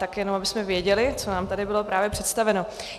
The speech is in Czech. Tak jenom abychom věděli, co nám tady bylo právě představeno.